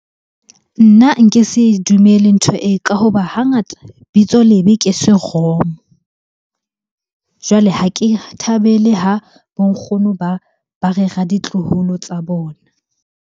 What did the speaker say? Nna nke se dumele ntho e, ka hoba hangata bitso lebe ke seromo. Jwale ha ke thabele ha bo nkgono ba rera ditloholo tsa bona.